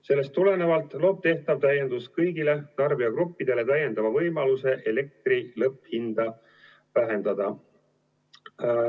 Sellest tulenevalt loob tehtav täiendus kõigile tarbijagruppidele täiendava võimaluse elektri lõpphinda vähendada.